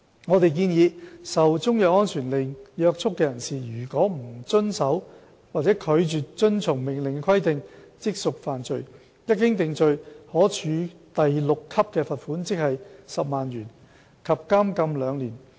我們建議，受中藥安全令約束的人士，如不遵守或拒絕遵從命令的規定，即屬犯罪，一經定罪，可處第6級罰款及監禁兩年。